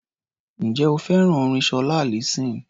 Ǹjẹ́ o fẹ́ràn orin Ṣọlá Allyson?